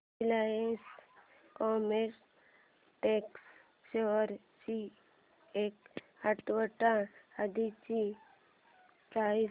Reliance Chemotex shares ची एक आठवड्या आधीची प्राइस